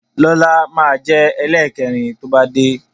Lọ́la máa jẹ ẹlẹ́kẹrin to bá dé